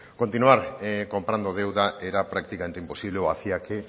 continuar comprando deuda era prácticamente imposible o hacía que